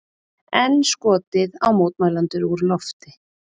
Enn skotið á mótmælendur úr lofti